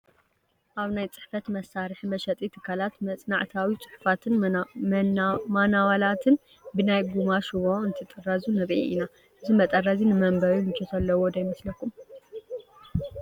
ኣብ ናይ ፅሕፈት መሳርሒ መሸጢ ትካላት መፅናዕታዊ ፅሑፋትን ማናዋላትን ብናይ ጐማ ሽቦ እንትጥረዙ ንርኢ ኢና፡፡ እዚ መጠረዚ ንመንበቢ ምቾት ዘለዎ ዶ ይመስለኩም?